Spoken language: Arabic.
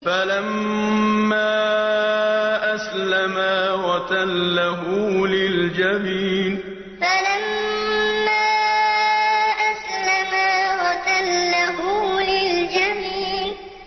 فَلَمَّا أَسْلَمَا وَتَلَّهُ لِلْجَبِينِ فَلَمَّا أَسْلَمَا وَتَلَّهُ لِلْجَبِينِ